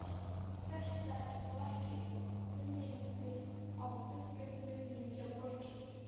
Þetta er þó ekki unglingur á fullum launum hjá borginni?